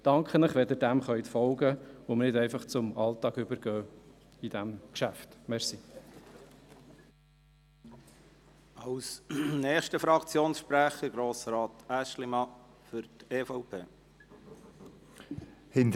Ich danke Ihnen, wenn Sie dem folgen können und bei diesem Geschäft nicht einfach zum Alltag übergehen.